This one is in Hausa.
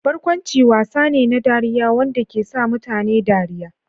Barkwanci wasa ne na dariya, wanda ke sa mutane dariya.